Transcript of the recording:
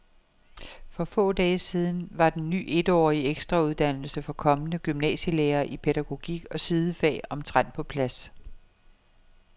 For få dage siden var den ny etårige ekstrauddannelse for kommende gymnasielærere i pædagogik og sidefag omtrent på plads.